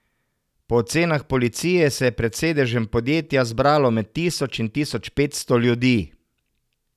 Po ocenah policije se je pred sedežem podjetja zbralo med tisoč in tisoč petsto ljudi.